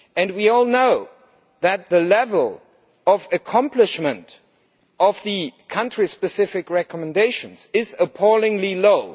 We all know that the level of accomplishment of the country specific recommendations is appallingly low.